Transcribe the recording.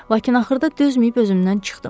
Lakin axırda dözməyib özümdən çıxdım.